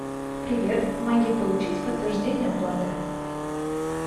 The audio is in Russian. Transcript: привет помоги получить подтверждение оплаты